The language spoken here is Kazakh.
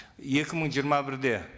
екі мың жиырма бірде